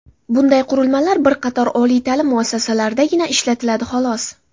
Bunday qurilmalar bir qator oliy ta’lim muassasalaridagina ishlatiladi, xolos.